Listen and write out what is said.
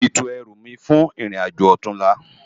Móti tó èrú mi jò fún irin ájó òtúnlá